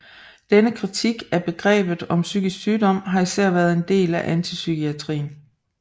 Denne kritik af begrebet om psykisk sygdom har især været en del af antipsykiatrien